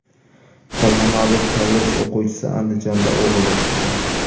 Farg‘onalik kollej o‘quvchisi Andijonda o‘g‘irlik qildi.